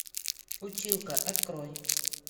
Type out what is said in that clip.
училка открой